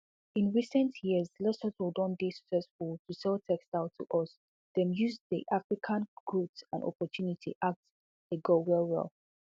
in recent years lesotho don dey stressful to sell textiles to us dem use di african growth and opportunity at a go wellwell